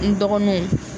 N dɔgɔninw